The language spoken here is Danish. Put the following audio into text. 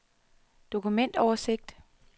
dokumentoversigt